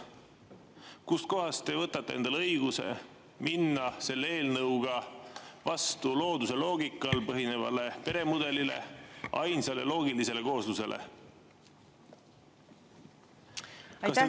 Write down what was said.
Kust kohast te võtate endale õiguse minna selle eelnõuga vastu looduse loogikal põhinevale peremudelile, ainsale loogilisele kooslusele?